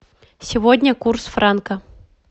сегодня курс франка